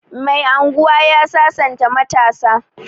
Mai unguwa ya sasanta matasa